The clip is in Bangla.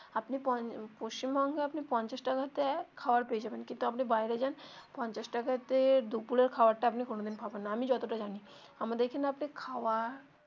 আপনি পশ্চিমবঙ্গে আপনি পঞ্চাশ টাকা তে খাবার পেয়ে যাবেন কিন্তু আপনি বাইরে যান পঞ্চাশ টাকা তে দুপুরের খাবার টা আপনি কোনো দিন পাবেন না আমি যত টা জানি আমাদের এখানে আপনি খাওয়া.